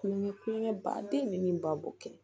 Kulonkɛ kulonkɛ baden bɛ min ba kɛ